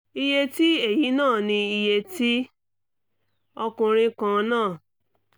iye tí èyí ná ni iye tí ọkùnrin kan ń ná